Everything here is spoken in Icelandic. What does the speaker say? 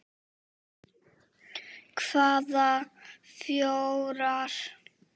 Hvaða fjórar?